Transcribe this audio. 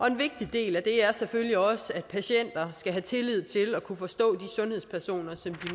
en vigtig del af det er selvfølgelig også at patienter skal have tillid til at kunne forstå de sundhedspersoner som